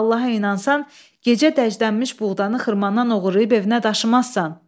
Sən Allaha inansan, gecə dəjdənmiş buğdanı xırmandan oğurlayıb evinə daşımazsan.